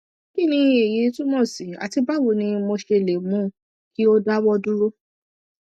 kí ni èyí túmọ sí àti báwo ni mo ṣe lè mú kí ó dáwọ dúró